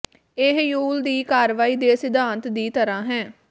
ਇਹ ਯੂਲ ਦੀ ਕਾਰਵਾਈ ਦੇ ਸਿਧਾਂਤ ਦੀ ਤਰ੍ਹਾਂ ਹੈ